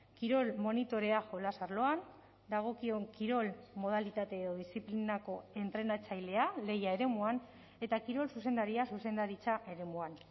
kirol monitorea jolas arloan dagokion kirol modalitate edo diziplinako entrenatzailea lehia eremuan eta kirol zuzendaria zuzendaritza eremuan